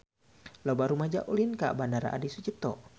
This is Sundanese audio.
Loba rumaja ulin ka Bandara Adi Sucipto